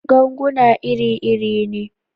Ganguna iri-iri ne.